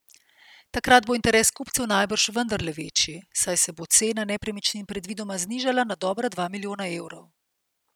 Takrat bo interes kupcev najbrž vendarle večji, saj se bo cena nepremičnin predvidoma znižala na dobra dva milijona evrov.